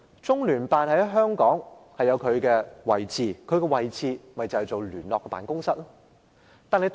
中聯辦在香港的位置是一個聯絡辦公室。